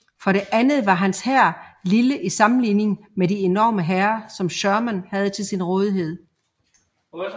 For det andet var hans hær lille i sammenligning med de enorme hære som Sherman havde til sin rådighed